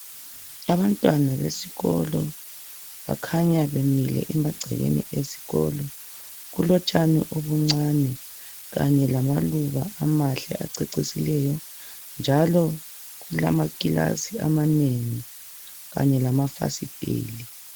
Abantwana besikolo bakhanya bemile emagcekeni esikolo. Kulotshani obuncani kanye lamaluba amahle acecisileyo njalo kulama kilasi amanengi kanye lamafasitela.